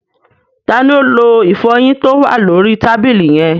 Ta ni ó lo ìfọyín tó wà lóri tàbílì yẹn?